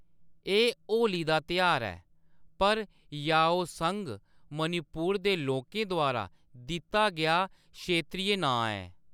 एह्‌‌ होली दा त्यहार ऐ पर याओसंग मणिपुर दे लोकें द्वारा दित्ता गेआ क्षेत्री नांऽ ऐ।